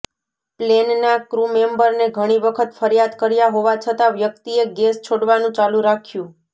પ્લેનના ક્રૂ મેમ્બરને ઘણી વખત ફરિયાદ કર્યા હોવા છતાં વ્યક્તિએ ગેસ છોડવાનું ચાલુ રાખ્યું